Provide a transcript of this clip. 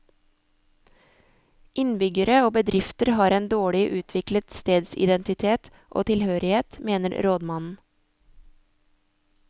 Innbyggere og bedrifter har en dårlig utviklet stedsidentitet og tilhørighet, mener rådmannen.